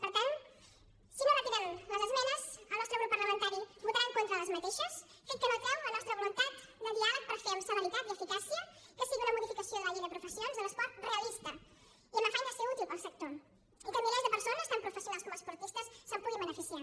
per tant si no retiren les esmenes el nostre grup parlamentari hi votarà en contra fet que no treu la nostra voluntat de diàleg per fer amb celeritat i eficàcia que sigui una modificació de la llei de professions de l’esport realista i amb afany de ser útil per al sector i que milers de persones tant professionals com esportistes se’n puguin beneficiar